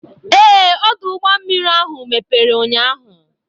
Ee, ọdụ ụgbọ mmiri ahụ mepere ụnyaahụ.